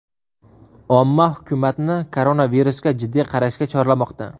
Omma hukumatni koronavirusga jiddiy qarashga chorlamoqda.